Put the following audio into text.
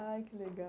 Ai, que legal!